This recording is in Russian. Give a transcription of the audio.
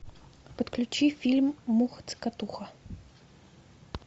подключи фильм муха цокотуха